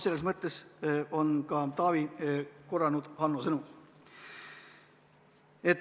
Selles mõttes Taavi kordas Hanno sõnu.